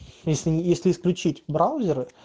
если включить браузер